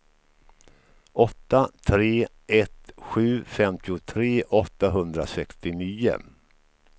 åtta tre ett sju femtiotre åttahundrasextionio